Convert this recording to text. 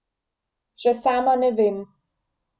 Še sama ne vem.